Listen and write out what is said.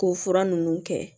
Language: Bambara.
K'o fura ninnu kɛ